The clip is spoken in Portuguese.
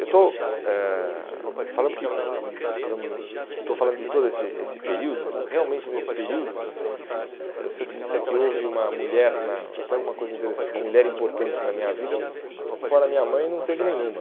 Eu estou eh falando porque eh por exemplo estou falando de todo esse esse período, realmente nesse período, eh se eu te disser que houve uma mulher na, até uma coisa interessante, uma mulher importante na minha vida, fora minha mãe, não teve nenhuma.